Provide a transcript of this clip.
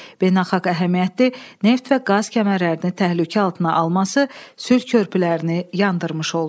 Beynəlxalq əhəmiyyətli neft və qaz kəmərlərini təhlükə altına alması sülh körpülərini yandırmış oldu.